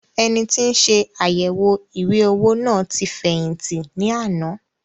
Ẹnití nse àyẹwò ìwé-owó náà tí fẹ̀yìntì ní àná